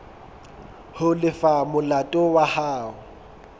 ho lefa molato wa hao